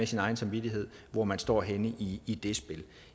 sin egen samvittighed hvor man står henne i i det spil